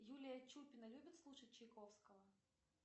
юлия чупина любит слушать чайковского